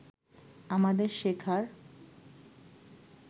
আমাদের শেখার